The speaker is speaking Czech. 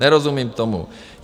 Nerozumím tomu.